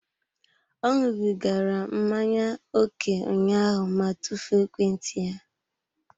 Ọ ṅụbigara mmanya ókè ụnyaahụ ma tufuo ekwentị ya.